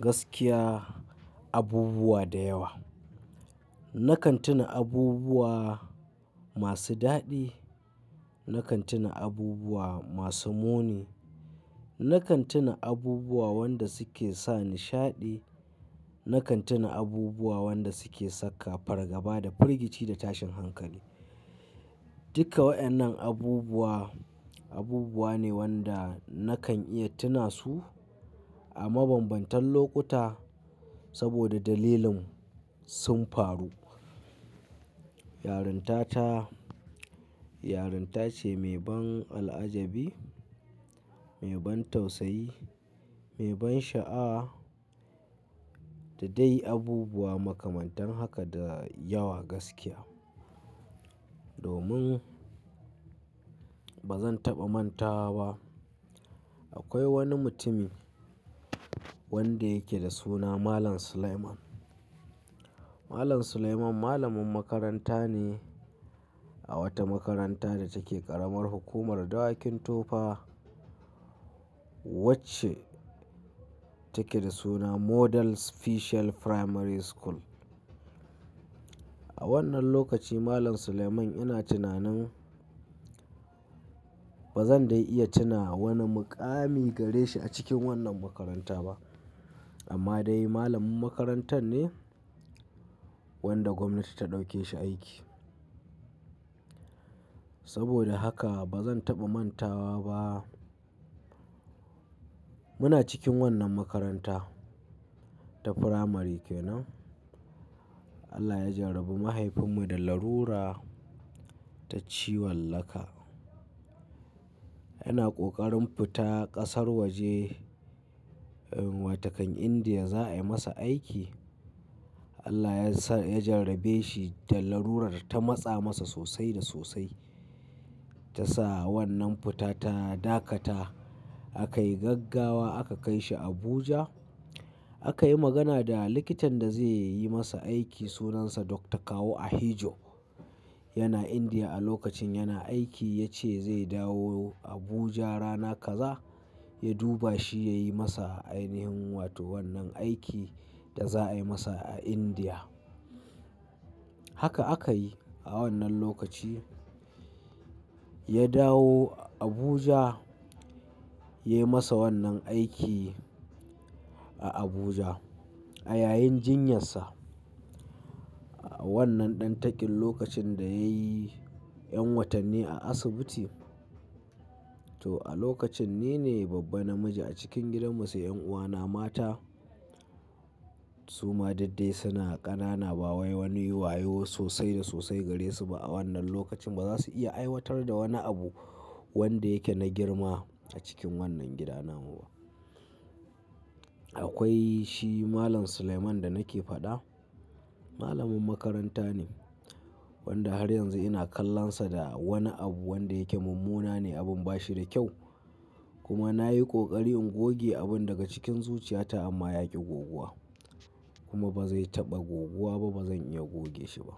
Gaskiya abubuwa da yawa. Nakan tuna abubuwa masu daɗi, nakan tuna abubuwa masu muni, nakan tuna abubuwa wanda suke sa nishaɗi, nakan tuna abubuwa wanda suke saka fargaba da firgici da tashin hankali. Duka wa'annan abubuwa, abubuwa ne wanda nakan iya tuna su a mabambantan lokuta saboda dalilin sun faru. Yarinta ta, yarinta ce mai ban al'ajabi, mai ban tausayi, mai ban sha'awa da dai abubuwa makamantan haka da yawa gaskiya. Domin bazan taɓa mantawa ba. Akwai wani mutumi wanda yake da suna Malam Suleiman. Malam Suleiman malamin makaranta ne a wata makaranta da take ƙaramar hukumar Dawakin Tofa wacce take da suna Model Special Primary School. A wannan lokaci Malam Suleiman ina tunanin bazan dai iya tuna wani muƙami gare shi a cikin wannan makaranta ba amma dai malamin makarantar ne wanda gwamnati ta ɗauke shi aiki. Saboda haka bazan taɓa manta ba. Muna cikin wannan makaranta ta firamare kenan Allah ya jarabi mahaifinmu da larura ta ciwon laka. Yana ƙoƙarin fita ƙasar waje inuwa takan Indiya za a yi masa aiki. Allah ya sa, ya jarabe shi da larurar ta matsa masa sosai da sosai. Ta sa wannan futata dakata a kai gaggawa aka kai shi Abuja. Akayi magana da likitan da zai yi masa aiki sunansa Doctor Kawu Ahiijo. Yana Indiya a lokacin yana aiki ya ce zai dawo Abuja rana kaza ya duba shi ya yi masa ainihin wato wannan aikin da za a yi masa a Indiya. Haka aka yi a wannan lokaci. Ya dawo Abuja ya yi masa wannan aiki a Abuja. A yayin jinyarsa wannan ɗantakin lokacin da yayi ƴan watanni a asibiti. To a lokacin ni ne babba namiji a cikin gidanmu sai ƴan'uwana mata su ma duk dai suna ƙanana ba wai wani wayo sosai da sosai gare su ba a wannan lokacin ba za su iya aiwatar da wani abu wanda yake na girma a cikin wannan gida namu ba. Akwai shi Malam Suleiman da nake faɗa. Malamin makaranta ne wanda har yanzu ina kallonsa da wani abu wanda yake munmuna ne abin ba shi da kyau kuma na yi ƙoƙari in goge abun daga cikin zuciyata amma ya ƙi goguwa kuma bazai taɓa goguwa ba bazan iya goge shi ba.